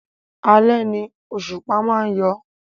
Alẹ́ ni òṣùpá má ń yọ